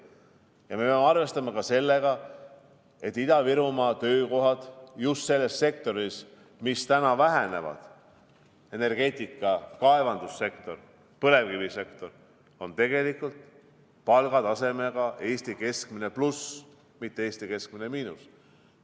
Ja me peame arvestama ka sellega, et Ida-Virumaa töökohad just selles sektoris, mis täna vähenevad – energeetika, kaevandussektor, põlevkivisektor –, on palgataseme poolest Eesti keskmine pluss, mitte Eesti keskmine miinus.